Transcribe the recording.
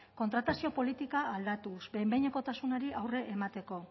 kontratazio politika aldatuz behin behinekotasunari aurre emateko